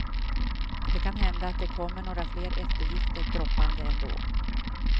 Det kan hända att det kommer några eftergifter droppande ändå.